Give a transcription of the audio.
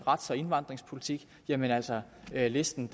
rets og indvandrerpolitik jamen altså listen